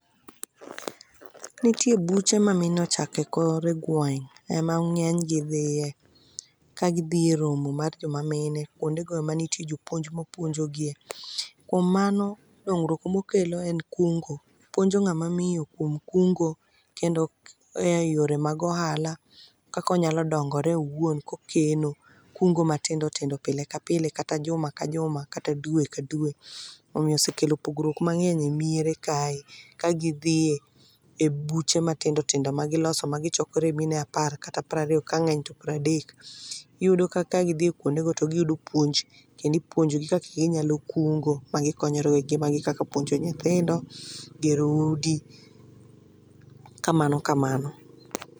Nitie buche ma mine ochako e kor gweng',ema ng'eny gi dhiye, ka gidhi e romo mar joma mine. Kwonde go em nitie jopuonj mapuonjogie. Kuom mano, dongruok mokelo en kungo. Puonjo ng'ama miyo kuom kungo kendo eyore mag ohala kaka onyalo dongore owuon, kokeno, kungo matindo tindo pile ka pile kata juma ka juma kata dwe ka dwe. Omiyo osekelo pogruok mang'eny e miere kae. Ka gidhi e buche matindo tindo magiloso magichokore mine apar kata prariyo, kang'eny to pradek. Iyudo ka kagidhi kwondego, to giyudo puonj kendo ipuonjogi kaka ginyalo kungo magikonyore e gik gi magi kaka puonjo nyithindo, gero udi, kamano kamano.